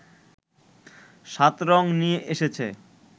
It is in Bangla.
৭ রং নিয়ে এসেছে